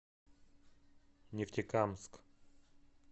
нефтекамск